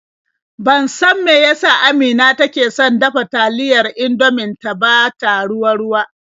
Ban san me ya sa Amina take son dafa taliyar Indomin ta ba ta ruwa-ruwa.